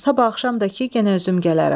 Sabah axşam da ki yenə özüm gələrəm.